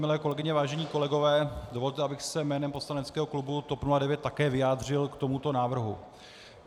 Milé kolegyně, vážení kolegové, dovolte, abych se jménem poslaneckého klubu TOP 09 také vyjádřil k tomuto návrhu.